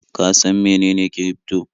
Ka san mene kirifto?